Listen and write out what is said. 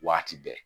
Waati bɛɛ